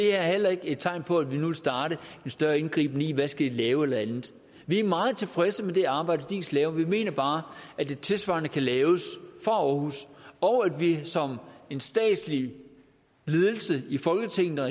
er heller ikke tegn på at vi nu vil starte en større indgriben i hvad de skal lave eller andet vi er meget tilfredse med det arbejde diis laver men vi mener bare at et tilsvarende kan laves fra aarhus og at vi som en statslig ledelse i folketinget og